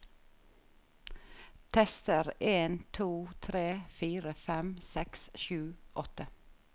Tester en to tre fire fem seks sju åtte